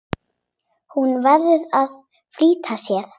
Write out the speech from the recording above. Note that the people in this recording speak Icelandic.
Hún verður að flýta sér.